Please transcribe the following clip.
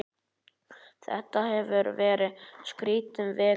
Þetta hefur verið skrítin vika.